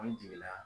An jiginna